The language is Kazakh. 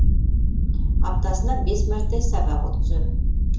аптасына бес мәрте сабақ өткіземін